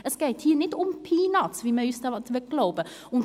Es geht hier nicht um Peanuts, wie man uns glauben machen will.